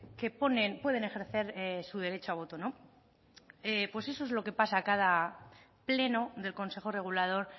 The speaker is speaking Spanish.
que ponen pueden ejercer su derecho a voto no pues eso es lo que pasa cada pleno del consejo regulador